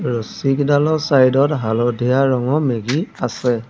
ৰছীকেইডালৰ side ত হালধীয়া ৰঙৰ মেগী আছে।